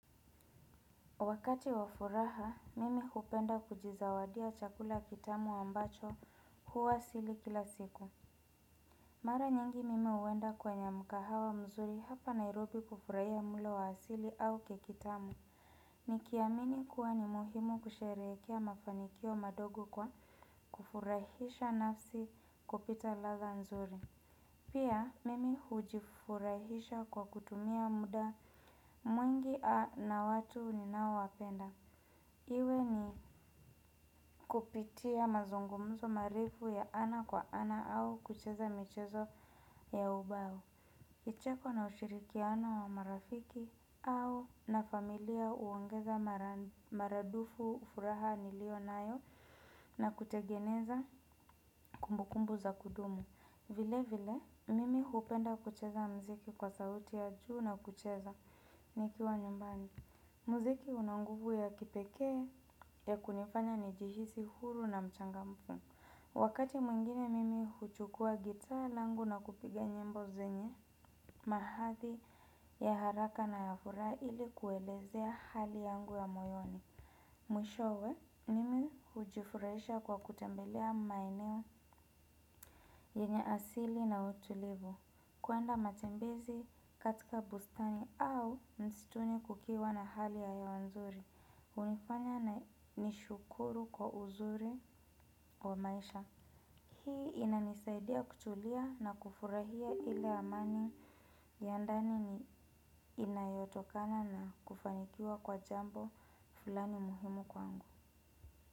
Wakati wa furaha mimi hupenda kujizawadia chakula kitamu ambacho huwa sili kila siku. Mara nyingi mimi huenda kwenye mkahawa mzuri hapa Nairobi kufurahia mlo wa asili au keki tamu. Nikiamini kuwa ni muhimu kusherehekea mafanikio madongo kwa kufurahisha nafsi kupita ladha nzuri. Pia, mimi hujifurahisha kwa kutumia muda mwingi na watu ni nao wapenda. Iwe ni kupitia mazungumzo maarifu ya ana kwa ana au kucheza michezo ya ubao. Kicheko na ushirikiano wa marafiki au na familia huongeza maradufu furaha nilio nayo na kutengeneza kumbukumbu za kudumu. Vile vile, mimi hupenda kucheza muziki kwa sauti ya juu na kucheza nikiwa nyumbani. Muziki una nguvu ya kipekee ya kunifanya nijihisi huru na mchangamfu wakati mwingine mimi huchukua gitaa langu na kupiga nyimbo zenye mahadhi ya haraka na furaha ili kuelezea hali yangu ya mawazo mwishowe mimi hujifurahisha kwa kutembelea maeneo yenye asili na utulivu. Kwenda matembezi katika bustani au msituni kukiwa na hali ya hewa nzuri. Hunifanya na nishukuru kwa uzuri wa maisha. Hii inanisaidia kutulia na kufurahia ile amani ya ndani inayotokana na kufanikiwa kwa jambo fulani muhimu kwangu.